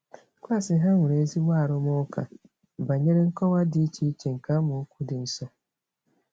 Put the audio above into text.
Klaasị ha nwere ezigbo arụmụka banyere nkọwa dị iche iche nke amaokwu dị nsọ.